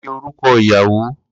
Kini orukọ iyawo?